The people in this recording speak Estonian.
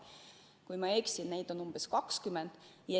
Kui ma ei eksi, siis on neid umbes 20.